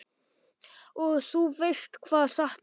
Og þú veist hvað sagt er?